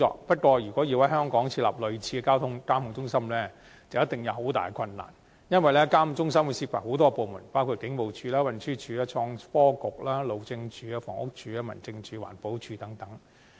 不過，如果要在香港設立類似的交通指揮中心，必定大有困難，因為相關指揮中心涉及很多部門，包括警務處、運輸署、創新及科技局、路政署、房屋署、民政事務總署、環境保護署等。